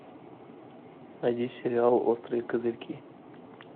найди сериал острые козырьки